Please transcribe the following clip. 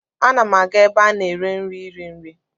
Ana m aga ebe a na-ere nri iri nri.